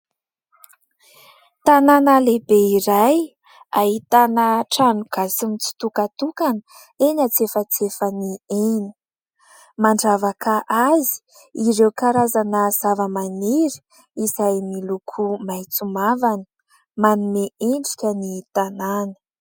Tanàna lehibe iray ahitana trano gasy mitsitokantokana eny tsy antsefatsefany eny. Mandravaka azy ireo karazana zavamaniry izay miloko maitso mavana manome endrika ny tanàna.